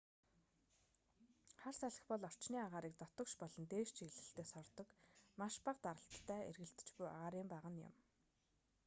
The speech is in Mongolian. хар салхи бол орчны агаарыг дотогш болон дээш чиглэлтэй сордог маш бага даралттай эргэлдэж буй агаарын багана юм